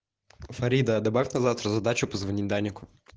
фарида добавь на завтра задачу позвонить данику